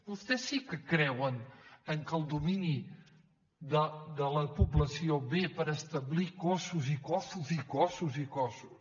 vostès sí que creuen que el domini de la població ve per establir cossos i cossos i cossos